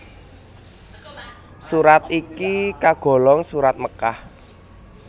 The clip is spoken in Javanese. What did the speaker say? Surat iki kagolong Surat Mekkah